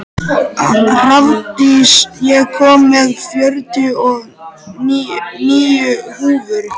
Hrafndís, ég kom með fjörutíu og níu húfur!